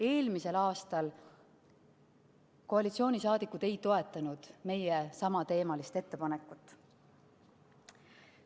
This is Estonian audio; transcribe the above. Eelmisel aastal koalitsiooni liikmed ei toetanud meie samateemalist ettepanekut.